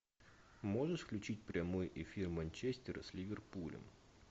можешь включить прямой эфир манчестер с ливерпулем